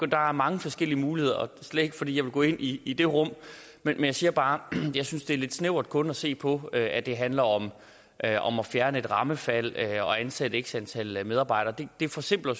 der er mange forskellige muligheder er slet ikke fordi jeg vil gå ind i i det rum men jeg siger bare at jeg synes det er lidt snævert kun at se på at det handler om at om at fjerne et rammefald og ansætte x antal medarbejdere det forsimpler